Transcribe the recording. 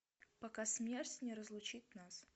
пока смерть не разлучит нас